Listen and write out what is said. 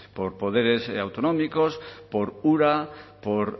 por poderes autonómicos por ura por